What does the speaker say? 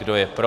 Kdo je pro?